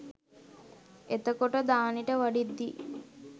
එතකොට දානෙට වඩිද්දී